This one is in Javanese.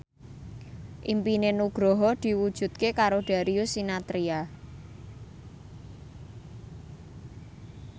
impine Nugroho diwujudke karo Darius Sinathrya